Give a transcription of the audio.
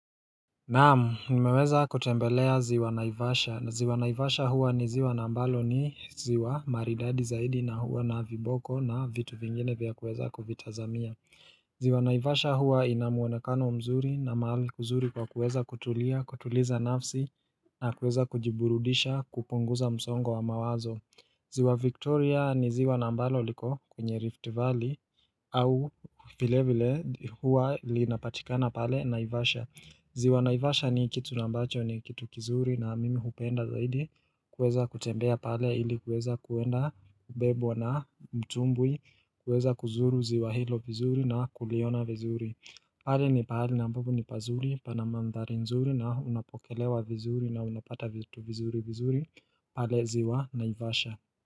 Naam nimeweza kutembelea ziwa naivasha, na ziwa naivasha huwa ni ziwa nambalo ni ziwa maridadi zaidi na huwa na viboko na vitu vingine vya kuweza kuvitazamia ziwa naivasha huwa ina muonekano mzuri na mahali kuzuri kwa kuweza kutulia, kutuliza nafsi na kuweza kujiburudisha kupunguza msongo wa mawazo ziwa victoria ni ziwa naambalo liko kwenye rift valley au vile vile huwa linapatikana pale naivasha ziwa naivasha ni kitu nambacho ni kitu kizuri na mimi hupenda zaidi kuweza kutembea pale ili kweza kuenda kubebwa na mtumbwi kuweza kuzuru ziwa hilo vizuri na kuliona vizuri pale ni pahali ambapo ni pazuri pana mandhari nzuri na unapokelewa vizuri na unapata vitu vizuri vizuri pale ziwa naivasha.